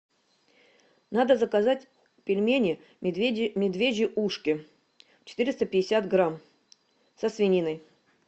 надо заказать пельмени медвежьи ушки четыреста пятьдесят грамм со свининой